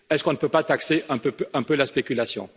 Est ce qu'on ne peut pas taxer un peu la spéculation?